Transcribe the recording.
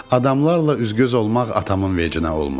Adamlarla üzgöz olmaq atamın vecinə olmurdu.